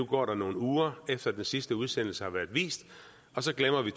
går nogle uger efter den sidste udsendelse har været vist og så glemmer vi